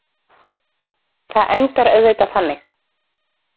Það endar auðvitað þannig.